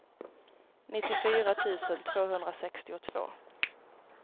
nittiofyra tusen tvåhundrasextiotvå